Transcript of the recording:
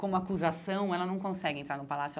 Como acusação, ela não consegue entrar no palácio.